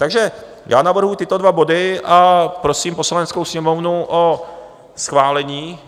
Takže já navrhuji tyto dva body a prosím Poslaneckou sněmovnu o schválení.